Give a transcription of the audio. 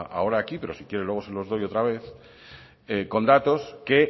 ahora aquí pero si quiere luego se los doy otra vez con datos que